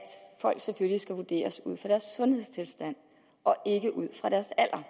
folk selvfølgelig skal vurderes ud fra deres sundhedstilstand og ikke ud fra deres alder